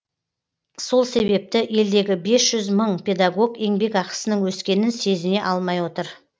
сол себепті елдегі бес жүз мың педагог еңбекақысының өскенін сезіне алмай отыр